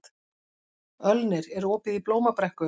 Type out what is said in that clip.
Ölnir, er opið í Blómabrekku?